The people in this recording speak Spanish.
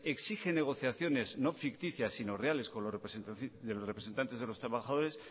exige negociaciones no ficticias si no reales con los representantes de los trabajadores